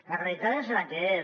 la realitat és la que és